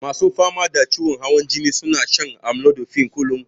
Masu fama da ciwon hawan jini suna shan amlodipine kullun.